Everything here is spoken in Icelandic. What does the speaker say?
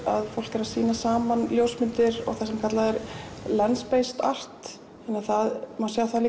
að fólk er að sýna saman ljósmyndir og það sem kallað er art þannig að það má sjá það